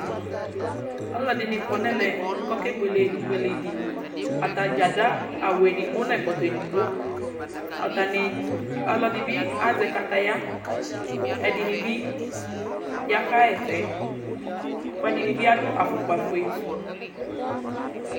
ɔloɛdini kɔ no ɛmɛ k'ake buele ibuele di atadza ado awu edigbo n'ɛkɔtɔ edigbo atani ɔloɛdi bi azɛ kataya kò ɛdini bi ya ka ɣa ɛsɛ kò ɛdini bi ado afukpa fue